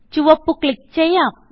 ചുവപ്പ് ക്ലിക്ക് ചെയ്യാം